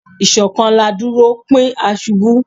Ishokan la duro, pin a ṣubu